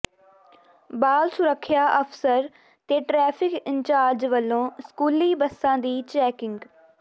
ਬਾਲ ਸੁਰੱਖਿਆ ਅਫ਼ਸਰ ਤੇ ਟਰੈਫਿਕ ਇੰਚਾਰਜ ਵੱਲੋਂ ਸਕੂਲੀ ਬੱਸਾਂ ਦੀ ਚੈਕਿੰਗ